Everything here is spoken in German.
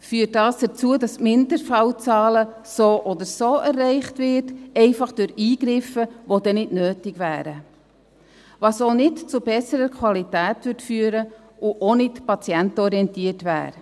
– Dies führt dazu, dass die Mindestfallzahlen so oder so erreicht werden, einfach durch Eingriffe, die nicht nötig wären, was auch nicht zu besserer Qualität führen würde und auch nicht patientenorientiert wäre.